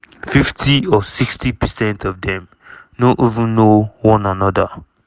"fifty or sixty percent of dem no even know one anoda.